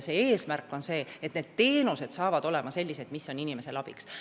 Eesmärk on, et teenused on tõesti inimestele abiks.